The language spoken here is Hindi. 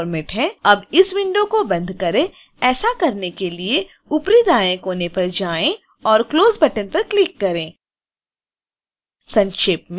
अब इस विंडो को बंद करें ऐसा करने के लिए ऊपरी दाएं कोने पर जाएं और close बटन पर क्लिक करें